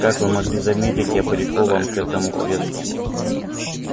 как вы могли заметить я прикован к этому креслу